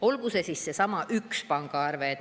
Olgu see siis see üks pangaarve.